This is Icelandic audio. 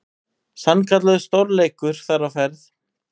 Sannkallaður stórleikur þar á ferð.